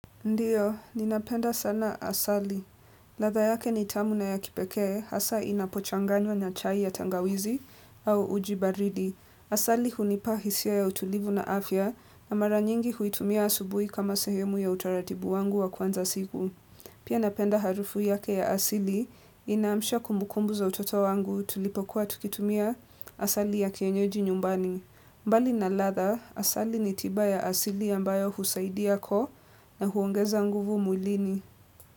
Ndiyo, ninapenda sana asali. Ladha yake ni tamu na ya kipekee, hasa inapochangwa na chai ya tangawizi au uji baridi. Asali hunipa hisia ya utulivu na afya na mara nyingi huitumia asubuhi kama sehemu ya utaratibu wangu wa kuanza siku. Pia napenda harufu yake ya asili inaamsha kumukumbu za utoto wangu tulipokuwa tukitumia asali ya kienyeji nyumbani. Mbali na ladha, asali ni tiba ya asili ambayo husaidia koo na huongeza nguvu mwlini.